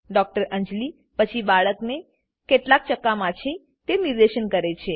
ડૉ અંજલી પછી બાળકને કેટલાક ચકામા છે તે નિર્દેશ કરે છે